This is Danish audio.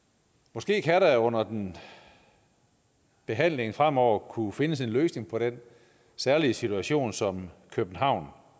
måske kan der under behandlingen fremover kunne findes en løsning på den særlige situation som københavn